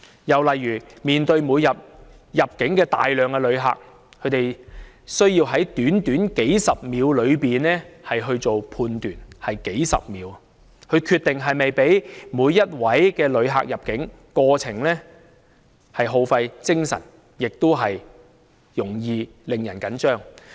又例如他們每天面對大量的入境旅客，他們需要在短短數十秒間進行判斷，只有數十秒時間決定是否讓某位旅客入境，過程既耗費精神，也容易使人緊張。